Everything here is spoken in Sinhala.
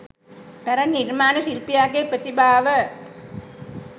පැරැණි නිර්මාණ ශිල්පියාගේ ප්‍රතිභාව